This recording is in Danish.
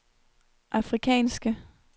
afrikanske